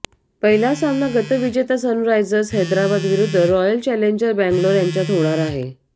पहिला सामना गतविजेता सनरायसर्स हैद्राबाद विरुद्ध रॉयल चैलेंजर बेंगलोर यांच्यात होणार आहे